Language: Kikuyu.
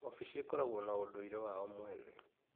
Ofici ĩkoragwo na ũndũire wao mwene.